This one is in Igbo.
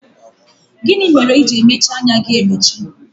Gịnị mere i ji emechi anya gị emechi?